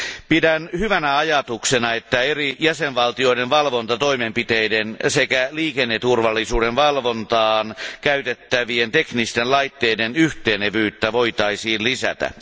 Pidän hyvänä ajatuksena sitä, että eri jäsenvaltioiden valvontatoimenpiteiden sekä liikenneturvallisuuden valvontaan käytettävien teknisten laitteiden yhtenevyyttä voitaisiin lisätä.